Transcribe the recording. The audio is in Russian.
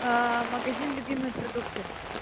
аа магазин любимые продукты